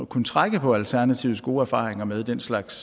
kunne trække på alternativets gode erfaringer med den slags